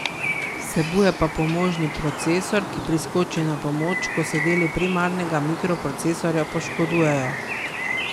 Vsebuje pa pomožni procesor, ki priskoči na pomoč, ko se deli primarnega mikroprocesorja poškodujejo.